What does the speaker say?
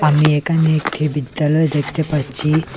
আমি একানে একটি বিদ্যালয় দেকতে পাচ্চি।